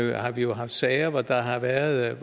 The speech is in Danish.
vi har jo haft sager hvor der har været